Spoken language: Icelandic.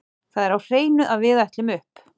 Það er á hreinu að við ætlum upp.